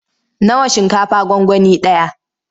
Nawa shinkafa gwangwani ɗaya?